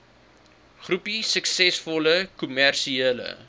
groepie suksesvolle kommersiële